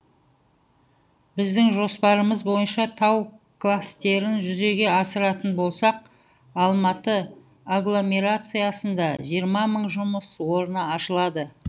біздің жоспарымыз бойынша тау кластерін жүзеге асыратын болсақ алматы агломерациясында жиырма мың жұмыс орны ашылады